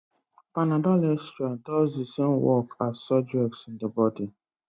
Command Statements